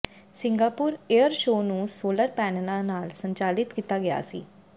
Singapore air show ਨੂੰ solar ਪੈਨਲਾਂ ਨਾਲ ਸੰਚਾਲਿਤ ਕੀਤਾ ਗਿਆ ਸੀ